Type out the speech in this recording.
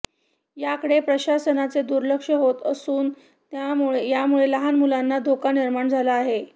याकडे प्रशासनाचे दुर्लक्ष होत असून यामुळे लहान मुलांना धोका निर्माण झाला आहे